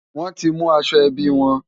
Wọ́n ti mú aṣọ ẹbí wọn.